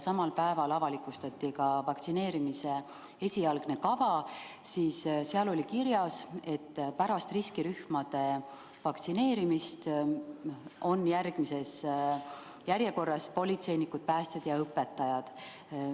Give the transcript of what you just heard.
Samal päeval avalikustati vaktsineerimise esialgne kava ja seal oli kirjas, et pärast riskirühmade vaktsineerimist on järgmisena järjekorras politseinikud, päästjad ja õpetajad.